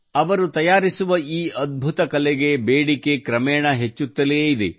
ಅವರು ತಯಾರಿಸಿದ ಈ ಅದ್ಭುತ ಕಲೆಗೆ ಬೇಡಿಕೆಗೆ ಕ್ರಮೇಣ ಹೆಚ್ಚುತ್ತಲೇ ಇದೆ